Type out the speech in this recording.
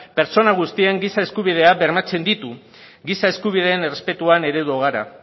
pertsona guztien giza eskubideak bermatzen ditu giza eskubideen errespetuan eredu gara